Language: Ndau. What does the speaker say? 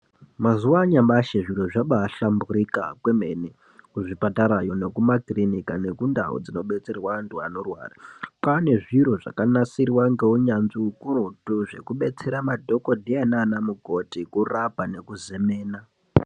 Mazuwa anyamashi zviro zvabahlamburuka kwemene kuzvipatarayo nekumakirinika nekundau dzinodetserwa antu anorwara kwane zviro zvakanasirwa ngeunyanzvi ukurutu zvekubetsera madhokodheya nanamukoti kurapa nekuzemena.